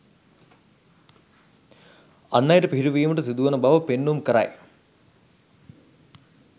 අන් අයට පිහිටවීමට සිදුවන බව පෙන්නුම් කරයි